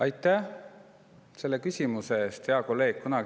Aitäh selle küsimuse eest, hea kolleeg!